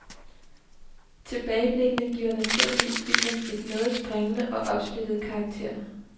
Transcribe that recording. Tilbageblikkene giver naturligvis filmen en noget springende og opsplittet karakter.